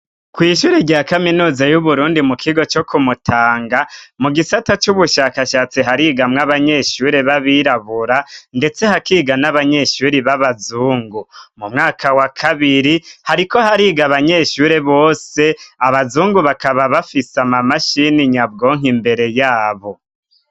Kw'ishure rya kaminuza y'Uburundi mu kigo co ku Mutanga mu gisata c'ubushakashatsi harigamwo abanyeshure b'abirabura ndetse hakiga n'abanyeshuri b'abazungu. Mu mwaka wa kabiri hariko hariga abanyeshure bose abazungu bakaba bafise amamashini nyabwonko imbere yabo.